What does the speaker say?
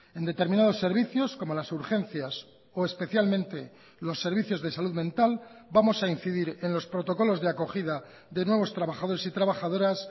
en determinados servicios como las urgencias o especialmente los servicios de salud mental vamos a incidir en los protocolos de acogida de nuevos trabajadores y trabajadoras